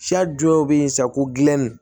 dɔ bɛ yen sa ko gulɔmin